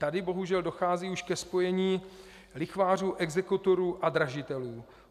Tady bohužel dochází už ke spojení lichvářů, exekutorů a dražitelů.